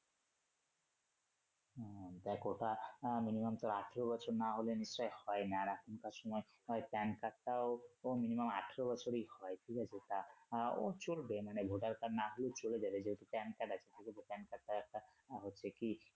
হ্যা দেখ ওটা আহ minimum তোর আঠারো বছর না হলে নিশ্চয়ই হয় না এখনকার সময় ওই Pan card টাও তো minimum আঠারো বছরই হয় কি বলো ওটা চলবে মানে voter card না হলে চলবে ধরো যেহেতু Pan card আছে যেহেতু Pan card টা একটা হচ্ছে কি